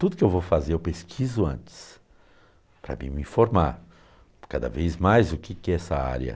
Tudo que eu vou fazer eu pesquiso antes, para me informar cada vez mais o que que é essa área.